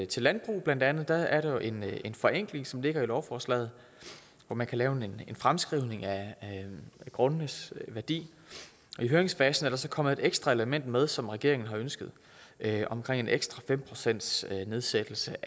til landbrug blandt andet er der jo en en forenkling som ligger i lovforslaget hvor man kan lave en fremskrivning af grundenes værdi i høringsfasen er der så kommet et ekstra element med som regeringen har ønsket omkring en ekstra fem procentsnedsættelse